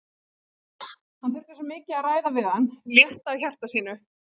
Hann þurfti svo mikið að ræða við hann, létta á hjarta sínu.